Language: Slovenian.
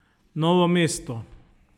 Novo mesto.